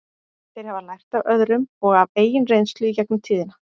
Þeir hafa lært af öðrum og af eigin reynslu í gegnum tíðina.